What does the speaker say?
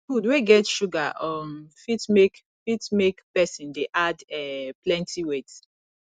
food wey get sugar um fit make fit make person dey add um plenty weight